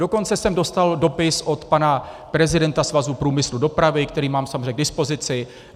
Dokonce jsem dostal dopis od pana prezidenta Svazu průmyslu dopravy, který mám samozřejmě k dispozici.